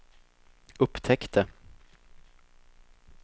upptäckte